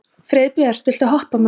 Friðbjört, viltu hoppa með mér?